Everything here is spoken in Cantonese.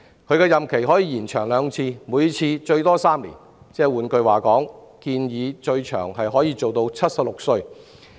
其任期可延長兩次，每次最多3年，換言之，最長可延任至76歲。